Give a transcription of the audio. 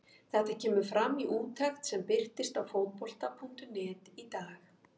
Þetta kemur fram í úttekt sem birtist á Fótbolta.net í dag.